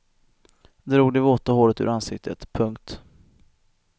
Drog det våta håret ur ansiktet. punkt